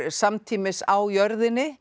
samtímis á jörðinni